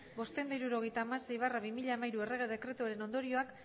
bostehun eta hirurogeita hamasei barra bi mila hamairu errege dekretuaren ondorioak